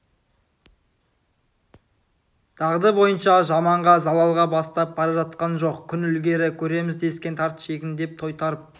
дағды бойынша жаманға залалға бастап бара жатқан жоқ күн ілгері көреміз дескен тарт шегін деп тойтарып